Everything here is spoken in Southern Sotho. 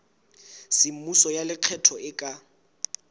semmuso ya lekgetho e ka